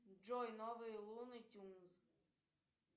джой новые луны тюнз